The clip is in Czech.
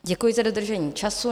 Děkuji za dodržení času.